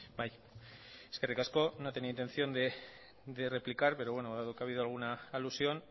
bai eskerrik asko no tenía intención de replicar pero bueno dado que ha habido alguna alusión